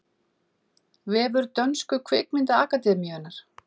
Vefur dönsku kvikmyndaakademíunnar